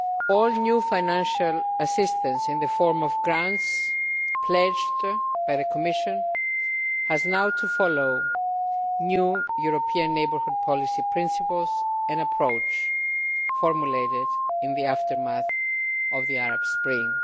All new financial assistance in the form of grants pledged by the Commission has now to follow new European Neighbourhood Policy principles, an approach formulated in the aftermath of the Arab Spring.